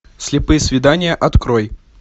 слепые свидания открой